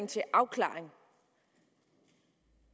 til afklaring